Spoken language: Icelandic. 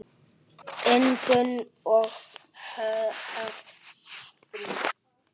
Ingunn og Högni.